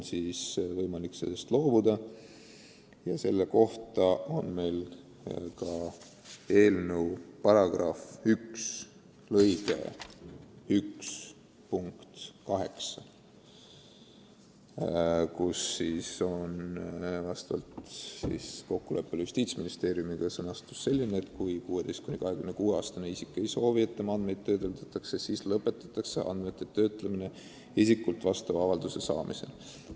Selle sätestab eelnõu § 1 lõige 1 punkt 8, mille sõnastus on vastavalt kokkuleppele Justiitsministeeriumiga selline, et kui 16–26-aastane isik ei soovi, et tema andmeid töödeldakse, siis lõpetatakse andmete töötlemine isikult vastava avalduse saamisel.